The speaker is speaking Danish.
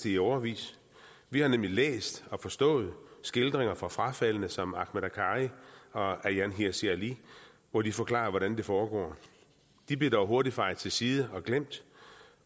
i årevis vi har nemlig læst og forstået skildringer fra frafaldne som ahmed akkari og ayaan hirsi ali hvor de forklarer hvordan det foregår de blev dog hurtigt fejet til side og glemt